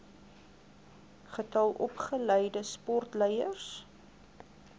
getal opgeleide sportleiers